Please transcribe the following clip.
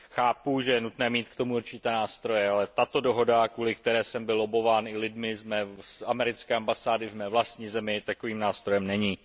Chápu, že je nutné mít k tomu určité nástroje, ale tato dohoda, kvůli které jsem byl lobbován i lidmi z americké ambasády v mé vlastní zemi, takovým nástrojem není.